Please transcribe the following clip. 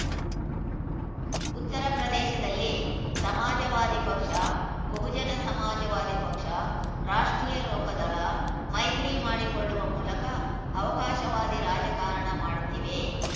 ಉತ್ತರ ಪ್ರದೇಶದಲ್ಲಿ ಸಮಾಜವಾದಿ ಪಕ್ಷ ಬಹುಜನ ಸಮಾಜವಾದಿ ಪಕ್ಷ ರಾಷ್ಟ್ರೀಯ ಲೋಕದಳ ಮೈತ್ರಿ ಮಾಡಿಕೊಳ್ಳುವ ಮೂಲಕ ಅವಕಾಶವಾದಿ ರಾಜಕಾರಣ ಮಾಡುತ್ತಿವೆ